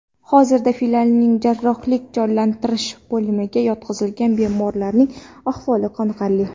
Hozirda filialning jarrohlik-jonlantirish bo‘limiga yotqizilgan bemorlarning ahvoli qoniqarli.